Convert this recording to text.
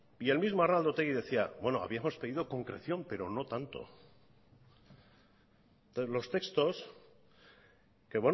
y el mismo arnaldo otegi decía bueno habíamos pedido concreción pero no tanto entonces los textos que